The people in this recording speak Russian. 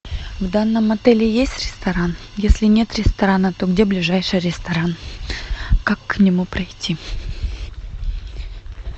в данном отеле есть ресторан если нет ресторана то где ближайший ресторан как к нему пройти